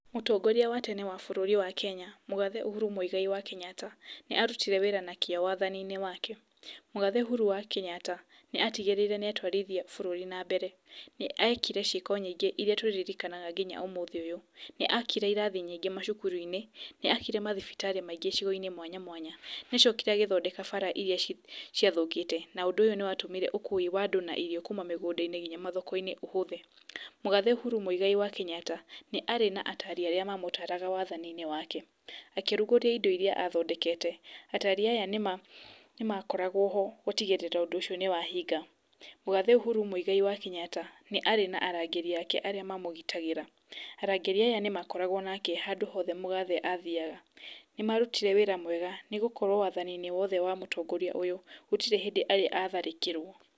Mũtongoria wa tene wa bũrũri wa Kenya, Mũgathe Uhuru Muigai wa Kenyatta nĩaarutire wĩra na kĩo wathaninĩ wake, mũgathe Ũhuru wa Kenyatta nĩatigĩrĩire nĩatwarithia bũrũri na mbere, nĩekire ciĩko nyingĩ iria tũririkanaga nginya ũmũthĩ ũyũ, nĩakire irathi nyingĩ macukuruinĩ, nĩakire mathibitarĩ maingĩ gĩcigoinĩ mwanya mwanya, nĩacokire agĩthondeka bara iria ciothe ciathũkĩte na ũndũ ũyũ nĩwatũmire ũkui wa andũ na irio kuuma mĩgũndainĩ nginya mathokoinĩ ũhũthe, mũgathe Uhuru Muigai wa Kenyatta nĩarĩ na atari arĩa mamũtaraga wathaninĩ wake, akĩrugũriria indo iria athondeke atari aya nĩmakorwo ho gũtigĩrĩra ũndũ ũcio nĩwahinga, Mũgathe Uhuru Muigai wa Kenyatta nĩ arĩ na arangĩri ake arĩa mamũgitagĩra, arangĩri aya nĩmakoragwa nake handũ hte mũgathe arathiaga ,nĩmarutire wĩra wega nĩgũkorwo wathaninĩ wothe wamũtongoria ũyũ gũtirĩ hĩndũ atharĩkĩrwo.